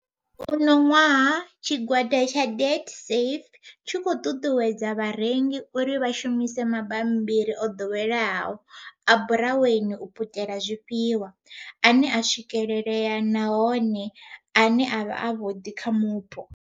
Uno ṅwaha, tshigwada tsha Debtsafe tshi khou ṱuṱuwedza vharengi uri vha shumise mabambiri o ḓoweleaho a buraweni u putela zwifhiwa, ane a swikelea nahone ane a vha avhuḓi kha mupo.